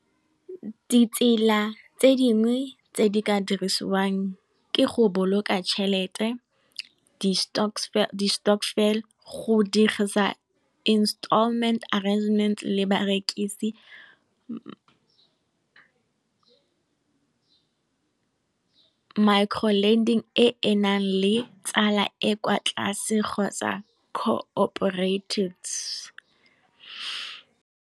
Di tsela tse dingwe tse di ka dirisiwang ke go boloka tšhelete, di stokvel, go dirisa installment arrangement le barekisi, micro lending e e nnang le tsala e kwa tlase kgotsa ka cooperated.